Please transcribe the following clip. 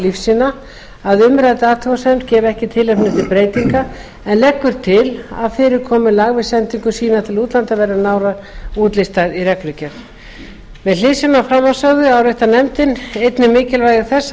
lífsýna að umrædd athugasemd gefi ekki tilefni til breytinga en leggur til að fyrirkomulag við sendingu sýna til útlanda verði nánar útlistað í reglugerð með hliðsjón af framansögðu áréttar nefndin einnig mikilvægi þess að